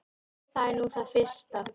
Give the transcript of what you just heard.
Það er nú það fyrsta.